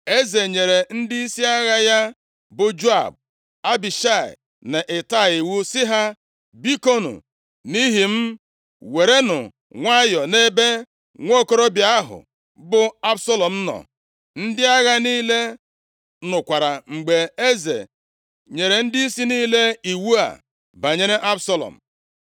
Eze nyere ndịisi agha ya, bụ Joab, Abishai na Itai, iwu sị ha, “Bikonu, nʼihi m, werenụ nwayọọ nʼebe nwokorobịa ahụ bụ Absalọm nọ.” Ndị agha niile nụkwara mgbe eze nyere ndịisi niile iwu a banyere Absalọm.